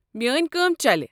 میٲنۍ کٲم چلہِ۔